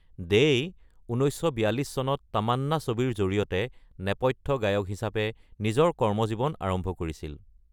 দেই ১৯৪২ চনত তামান্না ছবিৰ জৰিয়তে নেপথ্য গায়ক হিচাপে নিজৰ কৰ্মজীৱন আৰম্ভ কৰিছিল।